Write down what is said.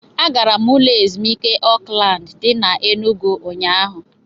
Agara m ụlọ ezumuike Oakland dị n'Enugwu ụnyahụ